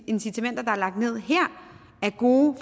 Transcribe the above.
incitamenter der er lagt ned her er gode